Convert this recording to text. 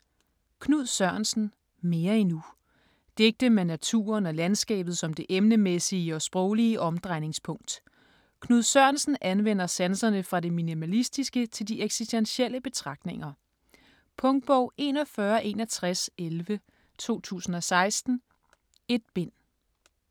Sørensen, Knud: Mere endnu Digte med naturen og landskabet som det emnemæssige og sproglige omdrejningspunkt. Knud Sørensen anvender sanserne fra det minimalistiske til de eksistentielle betragtninger. Punktbog 416111 2016. 1 bind.